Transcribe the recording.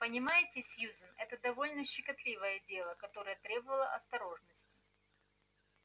понимаете сьюзен это довольно щекотливое дело которое требовало осторожности